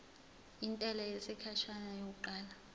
intela yesikhashana yokuqala